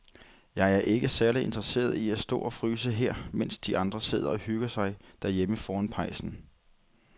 Jeg er ikke særlig interesseret i at stå og fryse her, mens de andre sidder og hygger sig derhjemme foran pejsen.